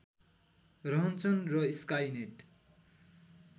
रहन्छन् र स्काइनेट